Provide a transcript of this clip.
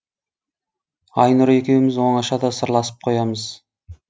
айнұр екеуіміз оңашада сырласып қоямыз